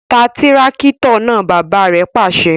Tá tìràkitọ náà! bàbà rẹ pàṣẹ